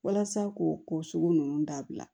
Walasa k'o ko sugu ninnu dabila